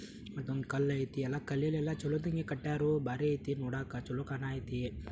ದುಡ್ಡು ಇಲ್ದಿರ ಒಂದ್ ಹೊತ್ತು ಊಟಕ್ಕೋಸ್ಕರನು ಕಷ್ಟ ಪಡ್ತಿರ್ತಾರೆ ಅದುನ ಗಮನದಲ್ಲಿಡಿ ಫ್ರೆಂಡ್ಸ್